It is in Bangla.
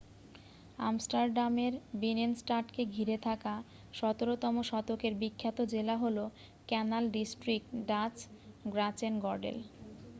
আমস্টারডামের বিনেনস্টাডকে ঘিরে থাকা ১৭তম শতকের বিখ্যাত জেলা হল ক্যানাল ডিস্ট্রিক্ট ডাচ: গ্র্যাচেনগর্ডেল।